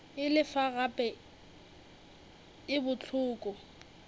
e lefa gape e bohloko